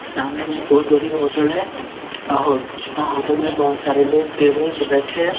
सामने में एक बहुत बड़ी होटल है और हो और होटल में बहुत सारे लोग टेबल पे बैठे हैं।